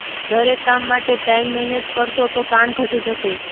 દરેક કામ માટે ટાઈમ મેનેજ કરશો તો તાણ ઘટી જશે